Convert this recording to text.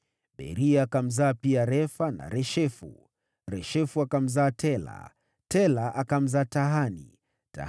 Beria akamzaa pia Refa, naye Refa akamzaa Reshefu, Reshefu akamzaa Tela, Tela akamzaa Tahani,